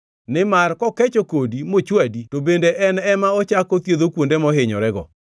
Nimar kokecho kodi mochwadi to en bende ema ochako othiedho kuonde mohinyorego.